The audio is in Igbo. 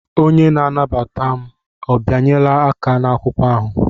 Onye na-anabata m ọ bịanyela aka n'akwụkwọ ahụ?